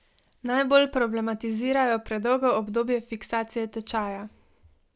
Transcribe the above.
Najbolj problematizirajo predolgo obdobje fiksacije tečaja.